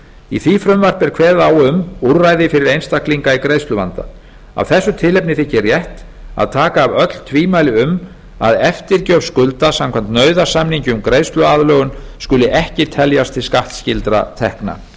í því frumvarpi er kveðið á um úrræði fyrir einstaklinga í greiðsluvanda af þessu tilefni þykir rétt að taka af öll tvímæli um að eftirgjöf skulda samkvæmt nauðasamningi um greiðsluaðlögun skuli ekki teljast til skattskyldra tekna